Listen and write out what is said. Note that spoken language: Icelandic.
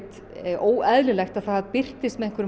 óeðlilegt að það birtist með einhverjum